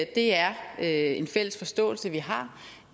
det er er en fælles forståelse vi har